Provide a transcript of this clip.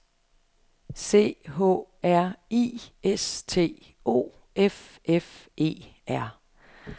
C H R I S T O F F E R